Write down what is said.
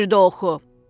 Bir də oxu.